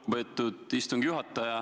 Lugupeetud istungi juhataja!